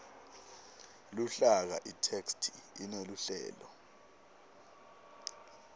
luhlaka itheksthi ineluhlelo